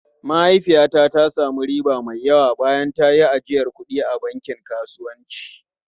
Mahaifiyata ta sami riba mai yawa bayan ta yi ajiyar kuɗi a bankin kasuwanci.